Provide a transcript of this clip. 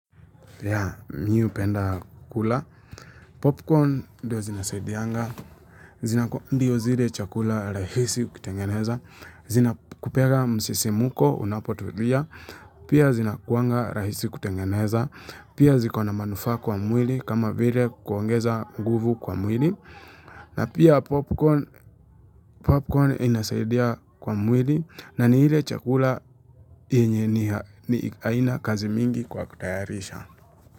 Ya, mi hupenda kukula popcorn ndio zinasaidianga zina ku ndio zile chakula rahisi kutengeneza, zinakupeaga msisimuko unapotulia pia zinakuanga rahisi kutengeneza pia ziko na manufaa kwa mwili kama vile kuongeza nguvu kwa mwili na pia popcorn popcorn inasaidia kwa mwili na ni ile chakula yenye ni ha nihaina kazi mingi kwa kutayarisha.